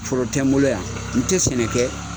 Foro tɛ n bolo yan n tɛ sɛnɛ kɛ.